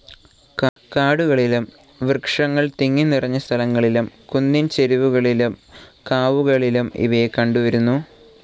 കാടുകളിലും, വൃക്ഷങ്ങൾ തിങ്ങിനിറഞ്ഞ സ്ഥലങ്ങളിലും, കുന്നിൻ ചെരിവുകളിലും, കാവുകളിലും ഇവയെ കണ്ടുവരുന്നു.